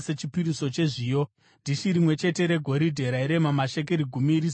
dhishi rimwe chete regoridhe rairema mashekeri gumi rizere nezvinonhuhwira;